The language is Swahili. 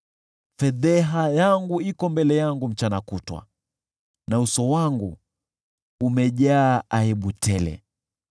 Fedheha yangu iko mbele yangu mchana kutwa, na uso wangu umejaa aibu tele,